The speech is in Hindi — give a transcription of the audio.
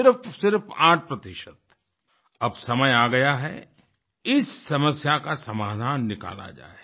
सिर्फसिर्फ 8 अब समय आ गया है इस समस्या का समाधान निकाला जाए